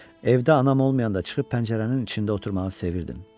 Evdə anam olmayanda çıxıb pəncərənin içində oturmağı sevirdim.